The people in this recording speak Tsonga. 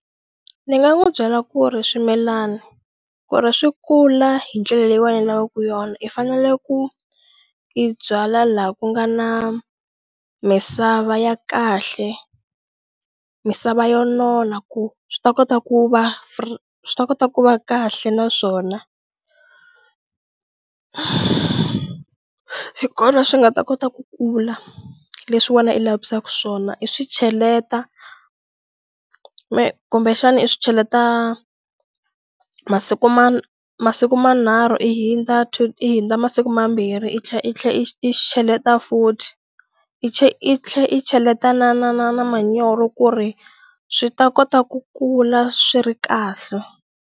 Ndzi nga n'wi byela ku ri swimilana ku ri swi kula hi ndlela leyiwani lavaku yona i fanele ku i byala la ku nga na misava ya kahle misava yo nona ku swi ta kota ku va swi ta kota ku va kahle na swona hi kona swi nga ta kota ku kula leswi wena i lavisaku swona i swi cheleta kumbexana i swi cheleta masiku ma masiku manharhu i hindza i hindza masiku mambirhi i tlhe i tlhe i cheleta futhi i i tlhe i cheleta na na na na manyoro ku ri swi ta kota ku kula swi ri kahle.